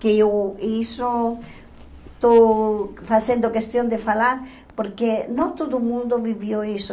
Que eu isso estou fazendo questão de falar porque não todo mundo viveu isso.